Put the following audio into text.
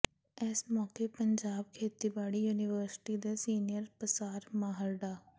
ਇਸ ਮੌਕੇ ਪੰਜਾਬ ਖੇਤੀਬਾੜੀ ਯੂਨੀਵਰਸਿਟੀ ਦੇ ਸੀਨੀਅਰ ਪਸਾਰ ਮਾਹਰ ਡਾ